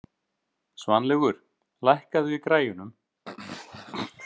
Svanlaugur, lækkaðu í græjunum.